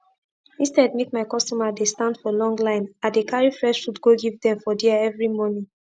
instead make my customer dey stand for long line i dey carry fresh food go give dem for dia everi morning